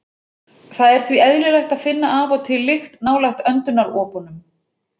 Það er því eðlilegt að finna af og til lykt nálægt öndunaropunum.